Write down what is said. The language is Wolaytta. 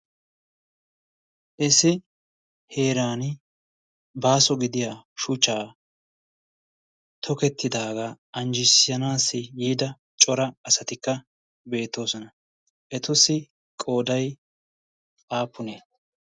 issi heeran baaso gidiya shuchchaa tokettidaagaa anjjissanaassi yiida cora asatikka beettoosona etussi qooday aapunee